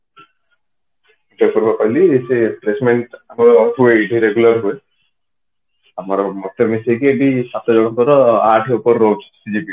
ତତେ ବା କହିଲି placement ହୁଏ ଆମର ଏଠି regular ହୁଏ ମତେ ମିଶେଇକି ଏଠି ସାତ ଜଣଙ୍କର ଆଠ ଉପରେ ରହୁଛି CGPA